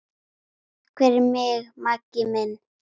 Takk fyrir mig, Maggi minn.